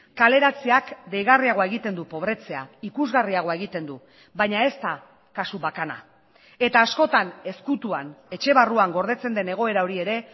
kaleratzeak deigarriagoa egiten du pobretzea ikusgarriagoa egiten du baina ez da kasu bakana eta askotan ezkutuan etxe barruan gordetzen den egoera hori ere